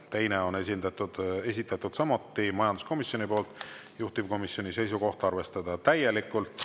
Teine on esitatud samuti majanduskomisjoni poolt, juhtivkomisjoni seisukoht: arvestada täielikult.